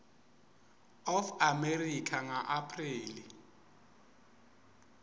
of america ngaapreli